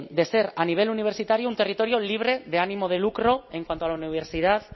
de ser a nivel universitario un territorio libre de ánimo de lucro en cuanto a la universidad